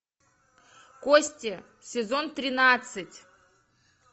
кости сезон тринадцать